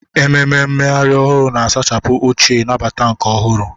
Ememe mmeghari ohuru, na-asachapụ ochie, nabata nke ọhụrụ.